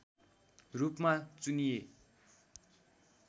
रूपमा चुनिए